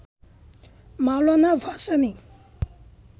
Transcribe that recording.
Maulana Bhasani